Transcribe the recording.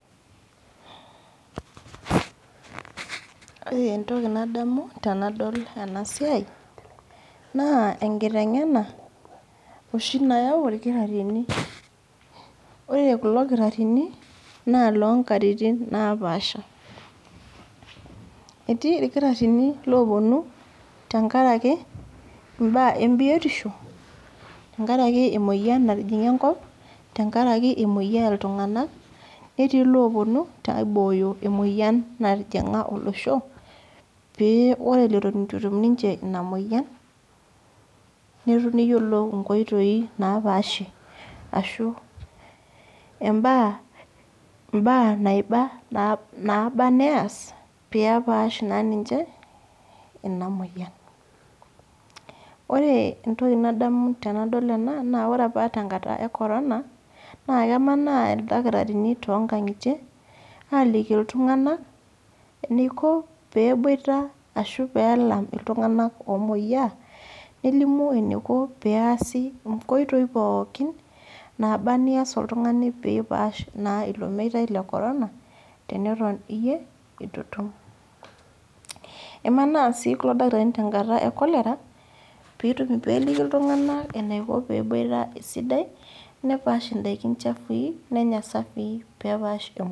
Ore entoki nadamu tenadol enasiai, naa enkiteng'ena, oshi nayau irkitaarrini. Ore kulo kitarrini, naa lonkatitin napaasha. Etii irkitaarrini loponu tenkaraki imbaa embiotisho, tenkaraki emoyian natijing'a enkop, tenkaraki emoyiaa iltung'anak, netii loponu, aibooyo emoyian natijing'a olosho, pe ore leton itu etum ninche ina moyian, neyiolou inkoitoi napaashie. Ashu imbaa naiba naba neas, pepash naa ninche ina moyian. Ore entoki nadamu tenadol ena, naa ore apa tenkata e corona, naa kemanaa ildakitarini tonkang'itie, aliki iltung'anak, eniko peboita ashu pelam iltung'anak omoyiaa, nelimu eniko peesi inkoitoi pookin, naba nias oltung'ani pipaash naa ilo meitai le corona, teneton iyie, itu itum. Emanaa si kulo dakitarini tenkata e cholera, peliki iltung'anak enaiko peboita esidai, nepaash idaikin chafui, nenya isafii, pepaash emoyian.